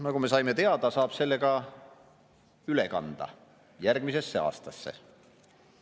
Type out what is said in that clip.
Nagu me teada saime, saab selle üle kanda järgmisesse aastasse.